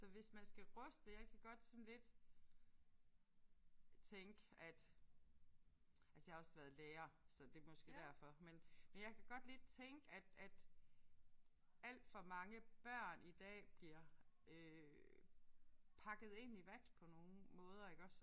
Så hvis man skal ruste jeg kan godt sådan lidt tænke at altså jeg har også været lærer så det er måske derfor men men jeg kan godt lidt tænke at at alt for mange børn i dag bliver øh pakket ind i vat på nogle måder iggås